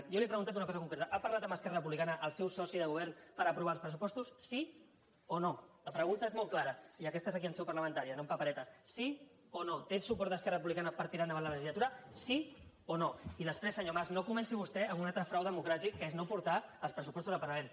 jo li he preguntat una cosa concreta ha parlat amb esquerra republicana el seus soci de govern per aprovar els pressupostos sí o no la pregunta és molt clara i aquesta és aquí en seu parlamentària no amb paperetes sí o no té el suport d’esquerra republicana per tirar endavant la legislatura sí o no i després senyor mas no comenci vostè amb un altre frau democràtic que és no portar els pressupostos al parlament